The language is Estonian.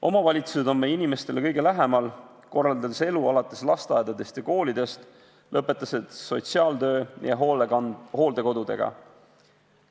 Omavalitsused on meie inimestele kõige lähemal, korraldades elu alates lasteaedadest ja koolidest ning lõpetades sotsiaaltöö ja hooldekodudega.